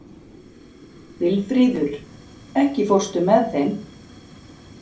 Vilfríður, ekki fórstu með þeim?